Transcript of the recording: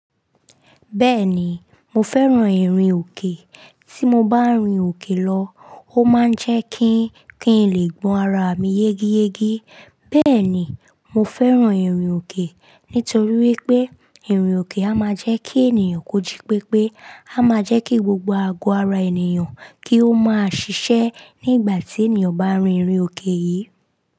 Bẹ́ẹ̀ni, mo fẹ́ràn ìrìn òkè. Tí mo bá rin òkè lọ, ó máa ń jẹ́ kí, kín lè gbọn ara mi yégeyége. Bẹ́ẹ̀ ni, mo fẹ́ràn ìrìn òkè nítorí wípé ìrìn òkè a máa jẹ́ kí ènìyàn kóji pépé, a máa jẹ́ kí gbogbo àgọ́ ara ènìyàn kí ó máa ṣiṣẹ́ ní ìgbà tí ènìyàn bá rin ìrìn òkè yìí.